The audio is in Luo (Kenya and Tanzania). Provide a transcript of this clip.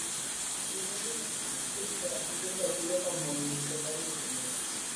Riwruoge ma ok mag sirkal siro ratiro ma mon nigo mar yudo lowo.